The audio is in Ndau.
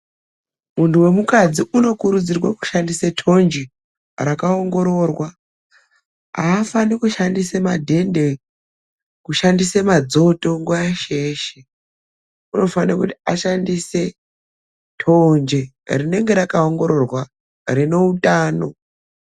Mundu wemukadzi anokurudzirwa kushandisa tonje rakaongororwa. Hafani kushandise madhende, kushandise madzoto nguva yeshe yeshe. Ngendaa yekuti tonje rakaongororwa rine utano.